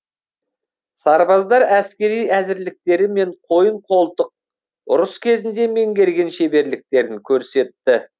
сарбаздар әскери әзірліктері мен қойын қолтық ұрыс кезінде меңгерген шеберліктерін көрсетті